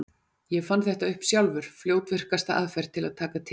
Ég fann þetta upp sjálfur: fljótvirkasta aðferð til að taka til.